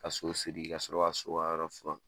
Ka so siri ka sɔrɔ ka so ka yɔrɔ furan.